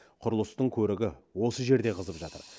құрылыстың көрігі осы жерде қызып жатыр